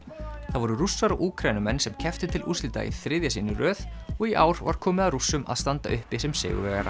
það voru Rússar og Úkraínumenn sem kepptu til úrslita í þriðja sinn í röð og í ár var komið að Rússum að standa uppi sem sigurvegarar